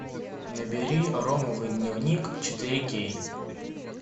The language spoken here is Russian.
набери ромовый дневник четыре кей